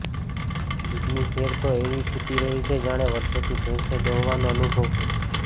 દૂધની સેર તો એવી ફૂટી રહી છે જાણે વર્ષોથી ભેંસો દોહવાનો અનુભવ હોય